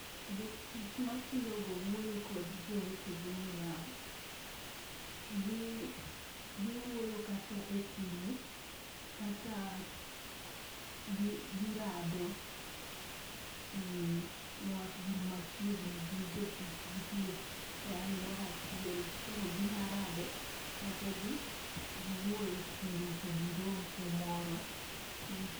Jotich matiyo go wuoyo kod jowetegi niya : gi giwuoyo kata e simu kata girado nikech gin machiegni gin jotich gitiyo e aluora achiel. Koro ginyalo rado kata giwuoye simu to girom kumoro.